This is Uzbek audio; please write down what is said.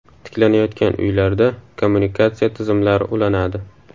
Tiklanayotgan uylarda kommunikatsiya tizimlari ulanadi.